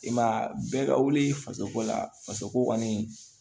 I ma ye a bɛɛ ka wuli faso ko la fasoko kɔni